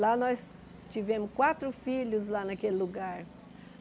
Lá nós tivemos quatro filhos, lá naquele lugar.